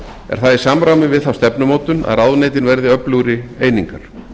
er það í samræmi við þá stefnumótun að ráðuneytin verði öflugri einingar